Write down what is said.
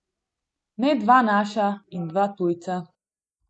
Ne dva naša in dva tujca.